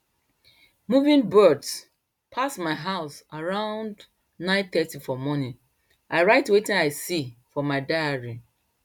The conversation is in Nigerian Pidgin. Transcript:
moving birds pass my house around nine thirty for morning i write wetin i see for my diary